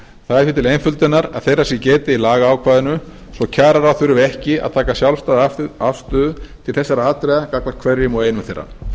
það er því til einföldunar að þeirra sé getið í lagaákvæðinu svo kjararáð þurfi ekki að taka sjálfstæða afstöðu til þessara atriða gagnvart hverjum og einum þeirra